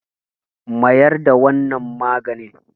mayar da wannan maganin!